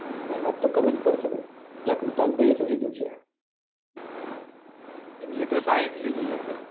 મહેનત તો કરવી જ પડશે ભાઈ પેલા કૃસલ ભાઈ એ શું લીધું છે